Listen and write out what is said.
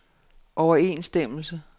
overensstemmelse